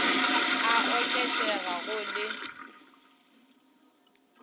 a oket ega go le